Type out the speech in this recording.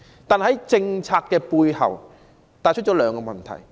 不過，這項政策帶出兩個問題。